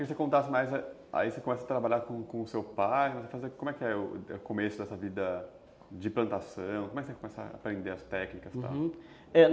Eu queria que você contasse mais, aí você começa a trabalhar com com o seu pai, como é o começo dessa vida de plantação, como é que você começa a aprender as técnicas e tal? uhum, é...